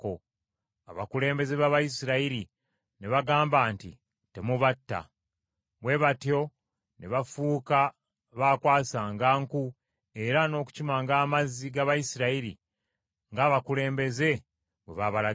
Abakulembeze b’Abayisirayiri ne bagamba nti, “Temubatta.” Bwe batyo ne bafuuka baakwasanga nku era n’okukimanga amazzi g’Abayisirayiri ng’abakulembeze bwe babalagira.